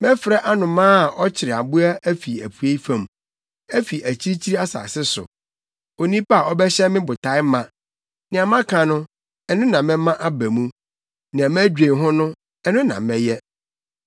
Mɛfrɛ anomaa a ɔkyere mmoa afi apuei fam; afi akyirikyiri asase so, onipa a ɔbɛhyɛ me botae ma. Nea maka no, ɛno na mɛma aba mu; nea madwen ho no, ɛno na mɛyɛ.